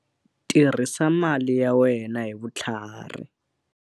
Tirhisa mali ya wena hi vutlhari.